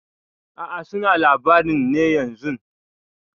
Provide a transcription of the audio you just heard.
A'a suna labarin ne yanzun.